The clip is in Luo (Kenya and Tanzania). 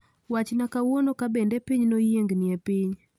wachna kawuono kabende piny noyiengni e piny